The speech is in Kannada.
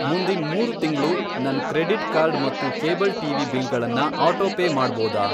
ಮುಂದಿನ್ ಮೂರು ತಿಂಗ್ಳು ನನ್ ಕ್ರೆಡಿಟ್ ಕಾರ್ಡ್ ಮತ್ತು ಕೇಬಲ್ ಟಿವಿ ಬಿಲ್ಗಳನ್ನ ಆಟೋಪೇ ಮಾಡ್ಬೋದಾ?